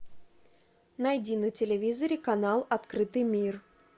найди на телевизоре канал открытый мир